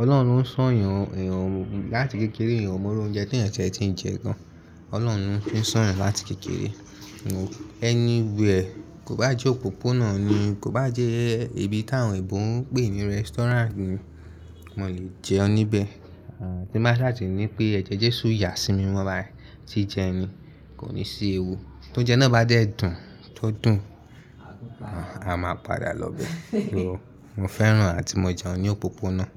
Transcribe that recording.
Ọlọ́run li n sọ̀yàn ẹ̀yàn láti kékeré. Ìyàn mọ́ru oúnjẹ tí ẹyan ti tie tiń jẹ gan. Ọlọ́run lo n sọ̀yàn láti kékeré. Anyway, kò bá jẹ́ òpópónà ni, kò bá jẹ́ ibi tí àwọn ebò ń pè ní restaurant ni, mo lè jẹun níbẹ̀. Tí mbá sha ti pé ẹ̀jẹ̀ Jésù ya sí mi mimo bayii, ji jẹ ni, kò ní sí ewu. Tó jẹun náà bá dé dùn tó dùn, a máa padà lọ bẹ. Mo fẹ́ràn àti mo jẹun ní òpópónà.